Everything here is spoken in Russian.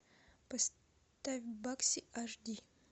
поставь бакси аш ди